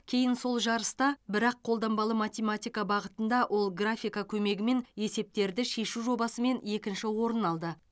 кейін сол жарыста бірақ қолданбалы математика бағытында ол графика көмегімен есептерді шешу жобасымен екінші орын алды